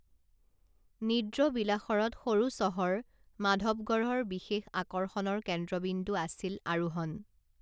নিদ্ৰবিলাসৰত সৰু চহৰ মাধৱগঢ়ৰ বিশেষ আকৰ্ষণৰ কেন্দ্ৰবিন্দু আছিল আৰোহণ